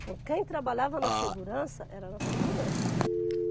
Então, quem trabalhava na segurança, era na segurança.